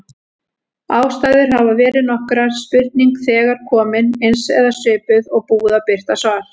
Ástæður hafa verið nokkrar: Spurning þegar komin, eins eða svipuð, og búið að birta svar.